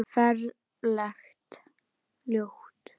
Ferlega ljót.